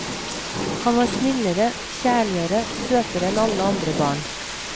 Han var snillere, kjærligere, søtere enn alle andre barn.